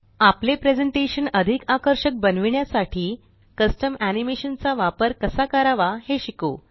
आपले प्रेज़ेंटेशन अधिक आकर्षक बनविण्यासाठी कस्टम एनीमेशन चा वापर कसा कारवा हे शिकू